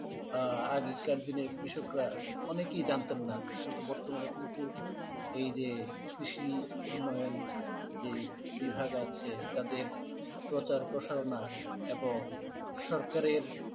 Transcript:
আহ আগেকার দিনের কৃষকরা অনেকেই জানতেন না কিন্তু বর্তমানে কিন্তু এই যে কৃষি উন্নয়ন যে বিভাগ আছে তাদের প্রচার, প্রসারণা এবং সরকারের,